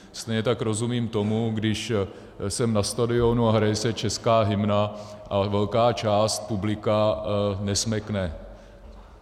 Stejně tak rozumím tomu, když jsem na stadionu a hraje se česká hymna a velká část publika nesmekne.